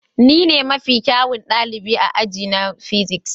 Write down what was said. Ni ne mafi kyawun ɗalibi a aji na physics.